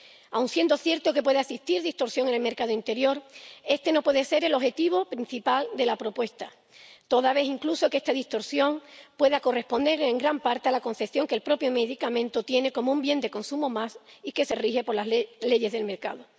Aun siendo cierto que pueda existir distorsión en el mercado interior, este no puede ser el objetivo principal de la propuesta, toda vez, incluso, que esta distorsión puede corresponder en gran parte a la concepción del propio medicamento como un bien de consumo más y que se rige por las leyes del mercado.